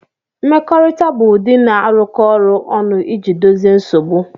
Mmekọrịta bụ ụdị na-arụkọ ọrụ ọnụ iji dozie nsogbu